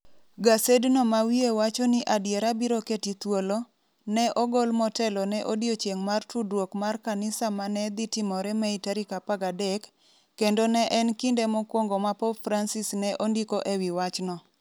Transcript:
Gasedno ma wiye wacho ni adiera biro keti thuolo, ne ogol motelo ne odiechieng' mar tudruok mar kanisa ma ne dhi timore Mei tarik 13, kendo ne en kinde mokwongo ma Pop Francis ne ondiko e wi wachno.